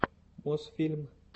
мосфильм